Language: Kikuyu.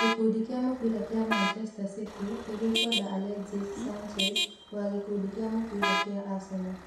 Gĩkundi kĩa mũbira kĩa Manchester City nĩ gĩkwenda Alexis Sanchez wa gĩkundi kĩa mũbira kĩa Arsenal